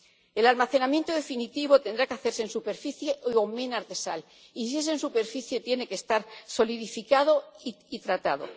El almacenamiento definitivo tendrá que hacerse en superficie o minas de sal y, si es en superficie, tiene que estar solidificado y tratado.